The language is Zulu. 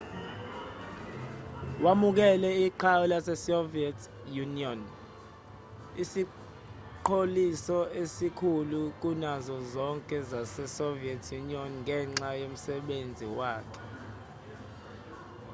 wamukele iqhawe lasesoviet union isiqholiso esikhulu kunazo zonke zasesoviet union ngenxa yomsebenzi wakhe